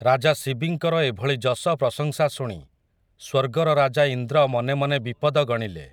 ରାଜା ଶିବିଙ୍କର ଏଭଳି ଯଶ ପ୍ରଶଂସା ଶୁଣି, ସ୍ୱର୍ଗର ରାଜା ଇନ୍ଦ୍ର ମନେ ମନେ ବିପଦ ଗଣିଲେ ।